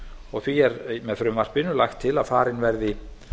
og því er með frumvarpinu lagt til að farin verði